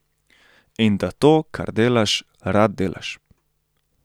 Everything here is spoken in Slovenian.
In da to, kar delaš, rad delaš.